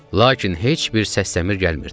Lakin heç bir səs-səmir gəlmirdi.